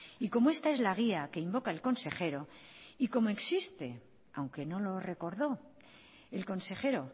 y como esta es la guía que invoca el consejero y como existe aunque no lo recordó el consejero